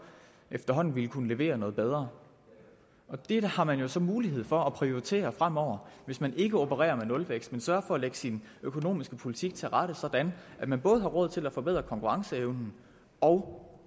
efterhånden vil kunne levere noget bedre det har man jo så mulighed for at prioritere fremover hvis man ikke opererer med nulvækst men sørger for at lægge sin økonomiske politik til rette sådan at man både har råd til at forbedre konkurrenceevnen og